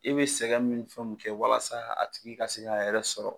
I bɛ sɛgɛn min fɛn min kɛ walasa a tigi ka se k'a yɛrɛ sɔrɔ.